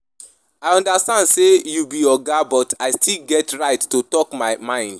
I understand sey you be oga but I still get right to talk my mind.